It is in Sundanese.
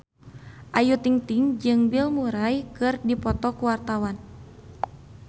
Ayu Ting-ting jeung Bill Murray keur dipoto ku wartawan